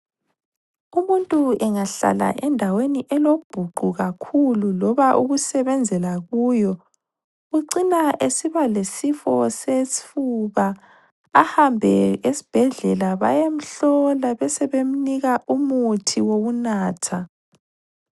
Umuntu engahlala endaweni elobhuqu kakhulu loba ukusebenzela kuyo .Ucina esiba lesifo sesifuba. Ahambe esibhedlela bayemhlola besebemnika umuthi wokunatha.